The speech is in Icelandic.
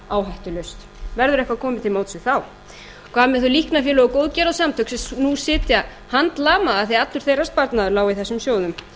áhættulaust verður eitthvað komið til móts við þá hvað með þau líknarfélög og góðgerðasamtök sem nú sitja handlama af því allur þeirra sparnaður lá í þessum sjóðum